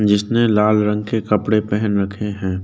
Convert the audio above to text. जिसने लाल रंग के कपड़े पहन रखे हैं।